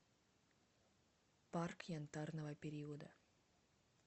парк янтарного периода